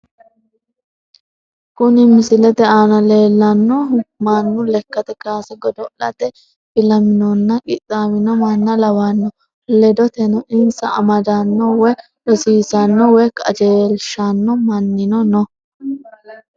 Kuni misilete aana leellannohu mannu lekkate kaase godo'late filaminonna qixxaawino manna lawanno ledoteno insa amadanno woy rosiissanno woy qajeelshanno mannino no.